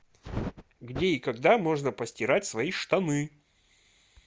где и когда можно постирать свои штаны